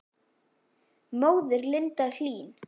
Móðir Linda Hlín.